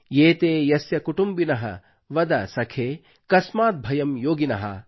ಏತೇ ಯಸ್ಯ ಕುಟುಂಬಿನಃ ವದ ಸಖೇ ಕಸ್ಮಾದ್ ಭಯಂ ಯೋಗಿನಃ